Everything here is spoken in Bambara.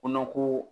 Kɔnɔ ko